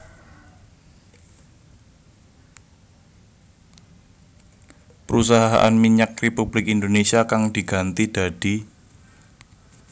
Perusahaan Minyak Republik Indonésia kang diganti dadi